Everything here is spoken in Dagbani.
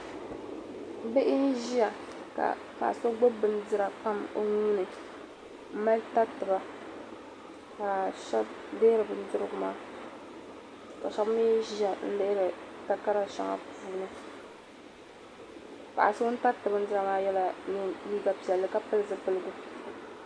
Bihi n ʒiya ka paɣa so gbubi bindira pam o nuuni n mali tari ti ba ka shab deeri ka shab mi ʒiya liɣiri takara shɛŋa puuni paɣa so ŋun tari ti bindira maa yela liiga piɛlli ka pili zupiligu.